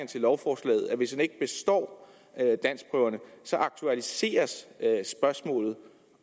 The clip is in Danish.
til lovforslaget at hvis man ikke består danskprøverne aktualiseres spørgsmålet